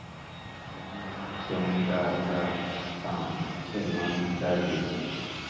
mo máa ń jẹun dáadáa um mo sì máa ń jáde